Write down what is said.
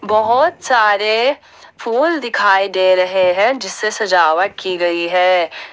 बहुत सारे फूल दिखाई दे रहे हैं जिससे सजावट की गई है।